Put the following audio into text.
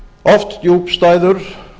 oft djúpstæður